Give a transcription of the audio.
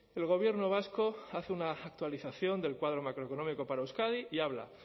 el gobierno vasco hace una actualización del cuadro macroeconómico para euskadi y habla